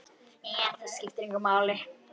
Það skiptir svo miklu máli.